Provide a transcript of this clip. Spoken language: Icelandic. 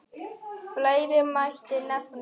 Fleira mætti nefna.